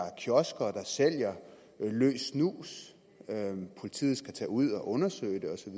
sælger løs snus politiet skal tage ud og undersøge det og så